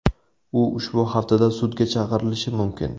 U ushbu haftada sudga chaqirilishi mumkin.